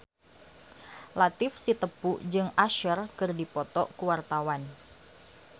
Latief Sitepu jeung Usher keur dipoto ku wartawan